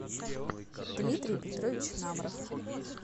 дмитрий петрович намров